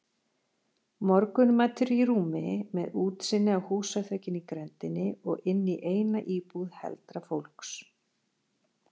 Morgunmatur í rúmi, með útsýni á húsaþökin í grenndinni og inní eina íbúð heldra fólks.